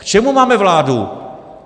K čemu máme vládu?